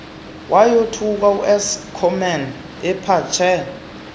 wayothuke uschoeman ephatshe